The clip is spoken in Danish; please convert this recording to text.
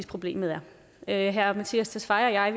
problemet er herre mattias tesfaye og jeg